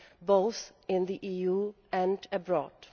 both in the EU and abroad.